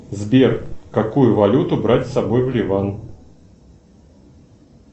сбер какую валюту брать с собой в ливан